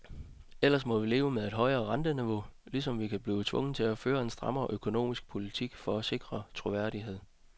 Ellers må vi leve med et højere renteniveau, ligesom vi kan blive tvunget til at føre en strammere økonomisk politik for at sikre troværdighed.